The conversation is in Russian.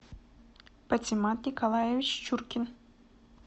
патимат николаевич чуркин